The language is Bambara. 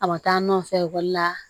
A ma taa nɔfɛ ekɔli la